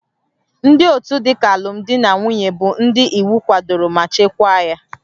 Ndị otu dịka alụmdi na nwunye bụ ndị iwu kwadoro ma chekwaa ya